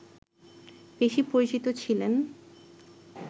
বেশি পরিচিত ছিলেন